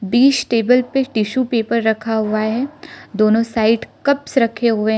बीच table पे tissue paper रखा हुआ है दोनों साइड कप्स रखे हुए--